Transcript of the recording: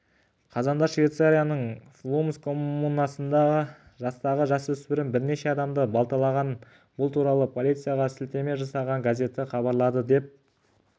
қазанда швейцарияның флумс коммунасында жастағы жасөспірім бірнеше адамды балталаған бұл туралы полицияға сілтеме жасаған газеті хабарлады деп